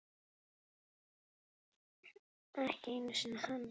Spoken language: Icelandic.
Ekki einu sinni hann.